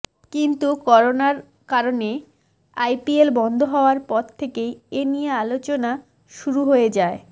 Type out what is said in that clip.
কিন্তু করোনার কারণে আইপিএল বন্ধ হওয়ার পর থেকেই এ নিয়ে আলোচনা শুর হয়ে যায়